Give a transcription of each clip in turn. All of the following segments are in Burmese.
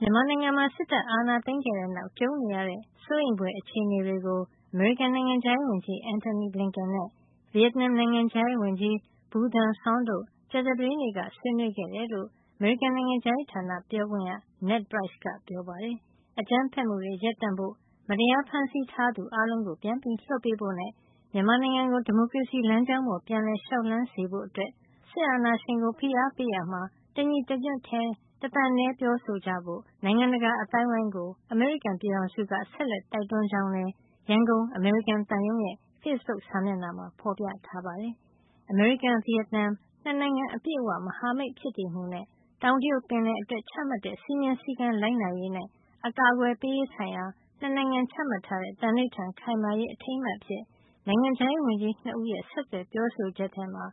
မြန်မာနိုင်ငံမှာ စစ်တပ်အာဏာသိမ်းခဲ့တဲ့ နောက် ကြုံနေရတဲ့ စိုးရိမ်ဖွယ်အခြေနေတွေကို အမေရိကန် နိုင်ငံခြားရေးဝန်ကြီး Antony J. Blinken နဲ့ ဗီယက်နမ် နိုင်ငံခြားရေးဝန်ကြီး Bui Thanh Son တို့ကြာသပတေးနေ့က ဆွေးနွေးခဲ့တယ်လို့ အမေရိကန် နိုင်ငံခြားရေးဌာနပြောခွင့်ရ Ned Price က ပြောပါတယ်။ အကြမ်းဖက်မှုတွေရပ်တန့်ဖို့၊ မတရားဖမ်းဆီးထားသူအားလုံးကိုပြန်လွှတ်ပေးဖို့နဲ့ မြန်မာနိုင်ငံကိုဒီမိုကရေစီလမ်းကြောင်းပေါ်ပြန်လည်လျှောက်လှမ်းစေဖို့အတွက် စစ်အာဏာရှင်ကို ဖိအားပေးရာမှာ တစ်ညီတစ်ညွှတ်နဲ့တစ်သံတည်းပြောဆိုကြဖို့ နိုင်ငံတကာအသိုင်းအဝိုင်းကို အမေရိကန်ပြည်ထောင်စုက ဆက်လက်တိုက်တွန်း ကြောင်းလည်း ရန်ကုန် အမေရိကန်သံရုံးရဲ့ ဖေ့စ်ဘုတ်စာမျက်နှာမှာ ဖေါ်ပြထားပါတယ်။ အမေရိကန်- ဗီယက်နမ် ၂ နိုင်ငံအပြည့်အဝ မဟာမိတ်ဖြစ်တည်မှုနဲ့ တောင်တရုတ်ပင်လယ်အတွက် ချမှတ်ထားတဲ့ စည်းမျဉ်းစည်းကမ်းလိုက်နာရေးနဲ့ အကာကွယ်ပေးရေး ဆိုင်ရာ ၂ နိုင်ငံချမှတ်ထားတဲ့ သံဓိဌာန် ခိုင်မာစေရေး အထိန်းအမှတ်အဖြစ် နိုင်ငံခြားရေးဝန်ကြီး ၂ ဦးရဲ့ ဆက်သွယ်ပြောဆိုချက်ထဲမှာ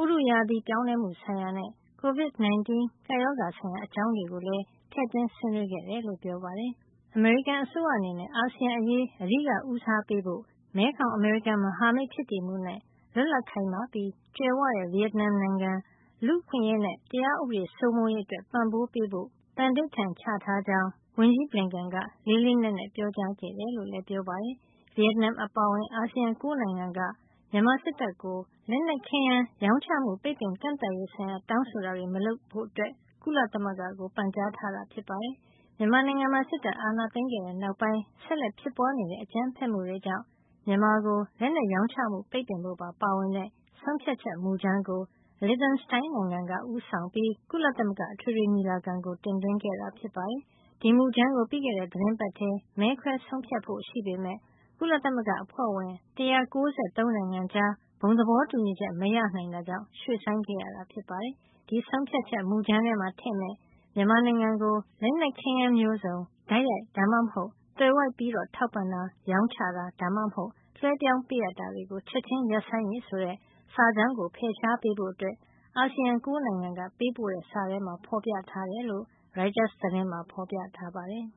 ဥတုရာသီပြောင်းလဲမှု ဆိုင်ရာနဲ့ Covid 19 ကပ်ရောဂါ ဆိုင်ရာ အကြောင်းရာတွေကိုလည်း ထည့်သွင်းဆွေးနွေးခဲ့တယ် လို့လည်း ပြောပါတယ်။ အမေရိကန်အစိုးရအနေနဲ့ အာဆီယံအရေး အဓိက ဦးစားပေးဖို့၊ မဲခေါင်- အမေရိကန် မဟာမိတ်ဖြစ်တည်မှု နဲ့ လွတ်လပ်၊ ခိုင်မာပြီး ကြွယ်ဝတဲ့ ဗီယက်နမ်ကိုနိုင်ငံ လူ့အခွင့်ရေးနဲ့ တရားဥပဒေစိုးမိုးရေး အတွက် ပံ့ပိုးပေးဖို့ သန္နိဋ္ဌာန်ချထားကြောင်း ဝန်ကြီး Blinken က လေးလေးနက်နက် ပြောကြားခဲ့တယ်လို့လည်း ပြောပါတယ်။ ဗီယက်နမ်အပါအဝင် အာဆီယံ ၉ နိုင်ငံက မြန်မာစစ်တပ်ကို လက်နက်ခဲယမ်း ရောင်းချမှု ပိတ်ပင်ကန့်သတ်ရေးဆိုင်ရာ တောင်းဆိုတာတွေ မလုပ်ဖို့ ကုလသမဂ္ဂကို ပန်ကြားထားတာ ဖြစ်ပါတယ်။ မြန်မာနိုင်ငံမှာ စစ်တပ်အာဏာသိမ်းခဲ့တဲ့နောက်ပိုင်း ဆက်လက်ဖြစ်ပွါးနေတဲ့ အကြမ်းဖက်မှုတွေကြောင့် မြန်မာကို လက်နက်ရောင်းချမှု ပိတ်ပင်ဖို့ပါ ပါဝင်တဲ့ ဆုံးဖြတ်ချက်မူကြမ်းကို Liechtenstein နိုင်ငံက ဦးဆောင်ပြီး ကုလသမဂ္ဂအထွေထွေညီလာခံကို တင်သွင်းခဲ့တာ ဖြစ်ပါတယ်။ ဒီမူကြမ်းကို ပြီးခဲ့တဲ့ သီတင်းပတ်ထဲ မဲခွဲဆုံးဖြတ်ဖို့ရှိပေမယ့် ကုလသမဂ္ဂ အဖွဲ့ဝင် ၁၉၃ နိုင်ငံကြား ဘုံသဘောတူညီချက် မရနိုင်တာကြောင့် ရွှေ့ဆိုင်းခဲ့ရတာပါ။ ဒီဆုံးဖြတ်ချက်မူကြမ်းထဲမှာထည့်မယ့် မြန်မာနိုင်ငံကို "လက်နက်ခဲယမ်းမျိုးစုံ တိုက်ရိုက် ဒါမှမဟုတ် သွယ်ဝိုက်ပြီးတော့ ထောက်ပံ့တာ၊ ရောင်းချတာ ဒါမှမဟုတ် လွှဲပြောင်းပေးတာကို ချက်ခြင်းရပ်ဆိုင်းရေး" ဆိုတဲ့ စာကြောင်းကို ဖယ်ရှားပေးဖို့ အာဆီယံ ၉ နိုင်ငံကပေးပို့တဲ့စာထဲမှာ ဖော်ပြထားတယ်လို့ ရိုက်တာ သတင်းမှာ ဖေါ်ပြပါတယ်။